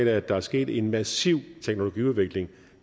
af at der er sket en massiv teknologiudvikling